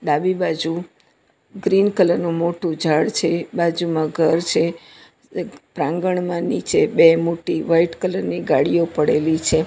ડાબી બાજુ green colour નું મોટું ઝાડ છે બાજુમાં ઘર છે પ્રાંગણમાં નીચે બે મોટી વાઈટ કલર ની ગાડીઓ પડેલી છે.